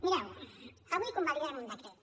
mireu avui convalidarem un decret